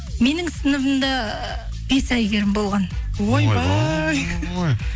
менің сыныбымда бес әйгерім болған ойбой